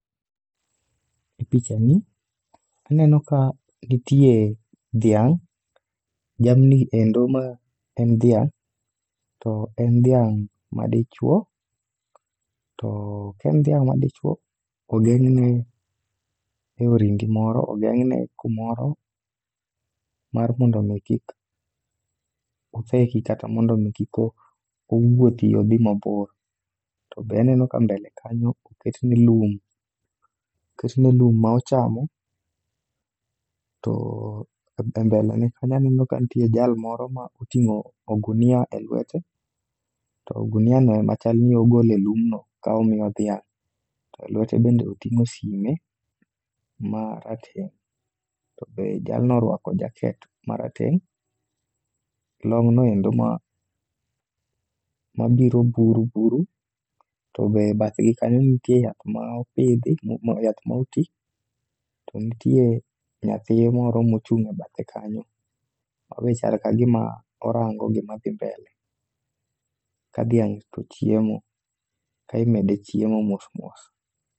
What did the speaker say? E picha ni anemo ka nitie dhiang', dhiang'ni endo ma en dhiang'. To en dhiang' madichwo, to kaen dhiang' madichwo, ogeng'ne e orindi moro. Ogeng'ne kumoro mar mondo mi kik otheki kata mondo mi kik owuothi odhi mabor. To be aneno ka mbele kanyo oketne lum, oketne lum ma ochamo. To e mbele ne kanyo aneno ka nitie jal moro ma oting'o ogunia e lwete. To ogunia no ema chal ni ogole lumno ka omiyo dhiang', to e lwete bende oting'o sime ma rateng'. To be jalno orwako jaket marateng', long'no endo mabiro buru buru. To be bathgi kanyo nitie yath ma opidhi, mo yath ma oti. To nitie nyathi moro mochung' e bathe kanyo, ma be chal kagima orango gima dhi mbele. Ka dhiang' to chiemo, ka imede chiemo mos mos.